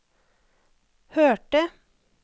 hørte